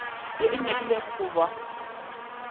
ye e nyakilego go ba